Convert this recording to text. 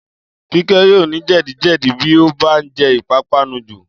Kíkẹ́ yóò ní jẹ̀díjẹ̀dí bí ó bá jẹ ìpápánu jù